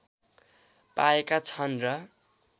पाएका छन र